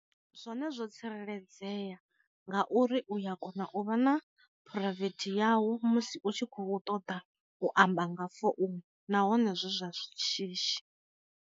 Zwone zwo tsireledzea nga uri uya kona u vha na phuraivethi yau musi u tshi khou ṱoḓa u amba nga founu nahone zwi zwa shishi.